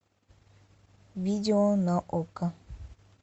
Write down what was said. видео на окко